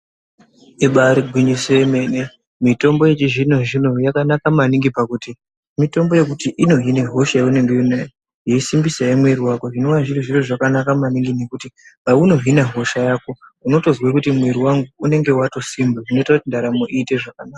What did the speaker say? Ibari gwinyiso yemene mitombo yechizvino zvino yakanaka maningi pakuti mitombo yekuti inohine hosha yaunenge uinayo yeisimbisazve mwiri wako zvinova zviri zviro zvakanaka maningi ngekuti paunohine hosha yako unotozwe kuti mwiri wangu unenge watosimba zvinoite kuti ndaramo iite zvakanaka.